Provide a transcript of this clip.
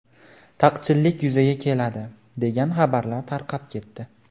Taqchillik yuzaga keladi” degan xabarlar tarqab ketdi.